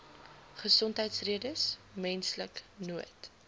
gesondheidsredes menslike nood